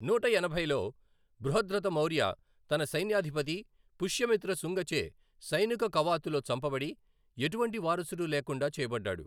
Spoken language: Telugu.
నూట ఎనభైలో, బృహద్రథ మౌర్య తన సైన్యాధిపతి పుష్యమిత్ర శుంగచే సైనిక కవాతులో చంపబడి, ఎటువంటి వారసుడు లేకుండా చేయబడ్డాడు.